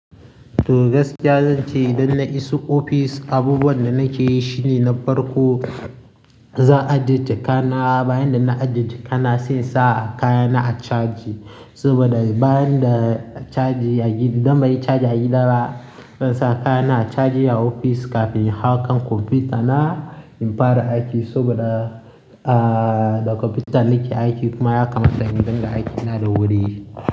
Toh gaskiya zan ce idan na iso ofis, abubuwan da nake yi shine na farko zan ajiye jakata. Bayan da na ajiye jakana sai sa kayana a caji. Saboda bayan da caji yayi, idan bai yi caji a gida zan sa kayana a caji a ofis kafin in haƙa kwamfutana in fara aiki. Saboda ah, da kwamfuta na ke aiki kuma ya kamata in dinga aiki na da wuri.